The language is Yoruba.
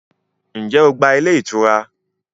Ǹjẹ́ o gba ilé ìtura?